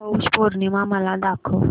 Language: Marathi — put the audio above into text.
पौष पौर्णिमा मला दाखव